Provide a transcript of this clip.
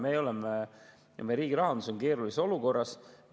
Me oleme ja meie riigi rahandus on keerulises olukorras.